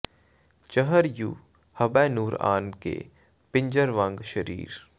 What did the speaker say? ਚਹਰ ਯੂੰ ਹਬੈ ਨੂਰ ਆਨ ਕੇ ਪਿੰਜਰ ਵਾਂਗ ਸਰੀਰ